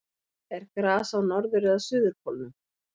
er gras á norður eða suðurpólnum